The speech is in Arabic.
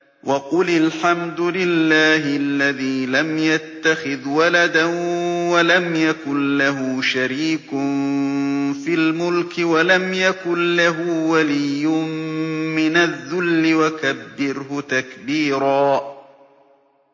وَقُلِ الْحَمْدُ لِلَّهِ الَّذِي لَمْ يَتَّخِذْ وَلَدًا وَلَمْ يَكُن لَّهُ شَرِيكٌ فِي الْمُلْكِ وَلَمْ يَكُن لَّهُ وَلِيٌّ مِّنَ الذُّلِّ ۖ وَكَبِّرْهُ تَكْبِيرًا